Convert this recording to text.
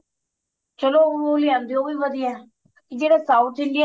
ਚਲੋ ਉਹ ਲਿਆਂਦੇ ਓ ਉਹ ਵੀ ਵਧੀਆ ਜਿਹੜਾ south Indian